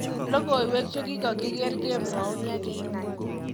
Logoiwek chekikokiger kemwoun yekinai.